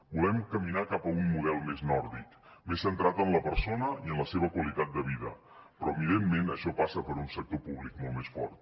volem caminar cap a un model més nòrdic més centrat en la persona i en la seva qualitat de vida però evidentment això passa per un sector públic molt més fort